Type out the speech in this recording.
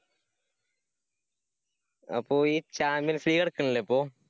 അപ്പൊ ഈ champion c നടക്കണില്ലേ അപ്പൊ.